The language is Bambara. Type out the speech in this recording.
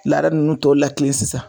Laada nunnu lakile sisan